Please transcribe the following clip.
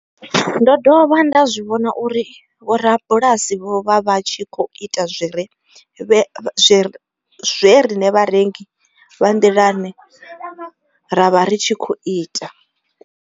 Ndo dovha nda zwi vhona uri vhorabulasi vho vha vha tshi khou ita zwe riṋe vharengi vha nḓilani ra vha ri tshi khou ita.